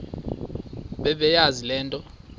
bebeyazi le nto